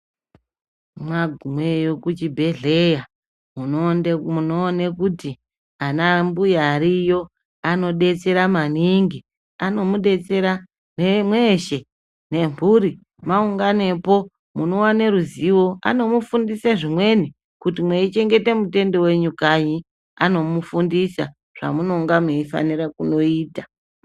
Mwagumeyo kuchibhehleya munoone kuti ana mbuya ariyo anodetsera maningi anomudetsera mweshe nemhuri mwaunganepo munowane ruzivo anomufundise zvimweni kuti mwei chengete mutendu wenyu kanyi anofundisa zvamunenge mweifanira kundoita .